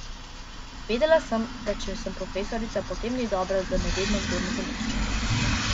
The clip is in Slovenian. Vedela sem, da če sem profesorica, potem ni dobro, da me vedno kdo nadomešča.